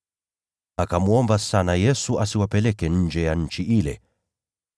Akamsihi Yesu sana asiwapeleke nje ya nchi ile.